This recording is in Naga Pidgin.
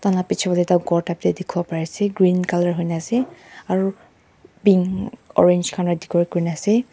Tai la pechebale ekta ghor dekhi bole bari ase green colour hoikena ase aro pink orange khan para decorate kuriena ase.